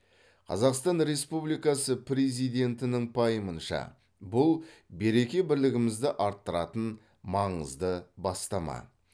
қазақстан республикасы президентінің пайымынша бұл береке бірлігімізді арттыратын маңызды бастама